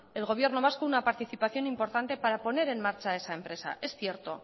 el gobierno vasco una participación importante para poner en marcha esa empresa es cierto